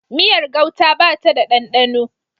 Miyar gauta ba ta da ɗanɗano